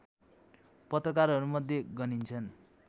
पत्रकारहरूमध्ये गनिन्छन्